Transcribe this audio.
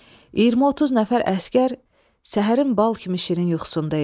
20-30 nəfər əsgər səhərin bal kimi şirin yuxusunda idi.